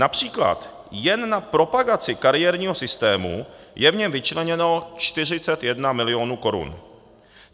Například jen na propagaci kariérního systému je v něm vyčleněno 41 mil. korun.